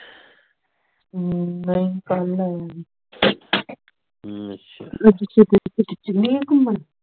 ਹਮ ਨਹੀਂ ਕੱਲ ਆਇਆ ਸੀ ਅੱਜ ਆਪਾਂ ਚੱਲੀਏ ਘੁੰਮਣ